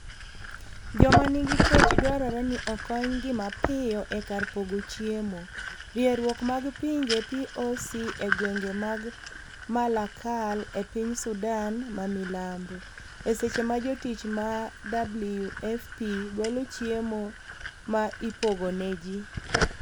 joma nigi kech dwarore ni okony gi mapiyo e kar pogo chiemo, rieruok mag pinje POC e gwenge mag Malakal e piny Sudan ma milambo . e seche ma jotich ma WFP golo chiemo ma ipogo ne ji